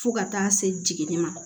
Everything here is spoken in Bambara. Fo ka taa se jiginni ma